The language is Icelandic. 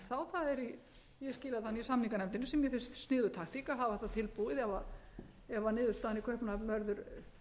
í samninganefndinni sem mér finnst sniðug taktík að hafa þetta tilbúið ef niðurstaðan í kaupmannahöfn verður